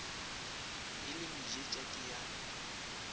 e le mejetša ke ya